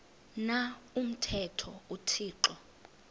na umthetho uthixo